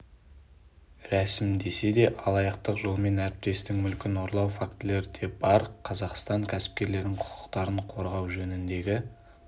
рәсімдесе де алаяқтық жолмен әріптестің мүлкін ұрлау фактілері де бар қазақстан кәсіпкерлерінің құқықтарын қорғау жөніндегі